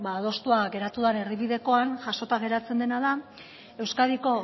adostua geratu den erdi bidekoan jasota geratzen dena da euskadiko